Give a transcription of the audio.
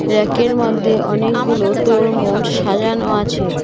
ব়্যাকের মধ্যে অনেকগুলো তরমুজ সাজানো আছে।